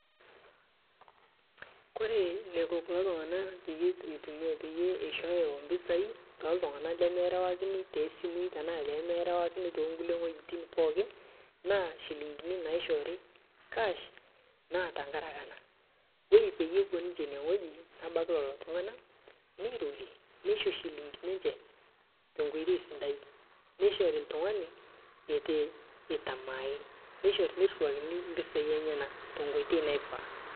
Ore enaiko kulo tunganak pee eishooyo impisai te kulo tunganak lemerewakini too simui aashu lemerewakini too kulie wuetin pookin naa nchilingini naishoori cash naa tenkaraki ena; ore pee epuo ine wueji nebaiki lelo tunganak neirorie, neisho nchilingini enye te enkoitoi sidai, neishori oltungani eitamaae te nkoitoi naanare.